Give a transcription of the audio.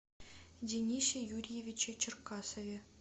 денисе юрьевиче черкасове